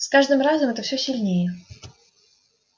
с каждым разом это всё сильнее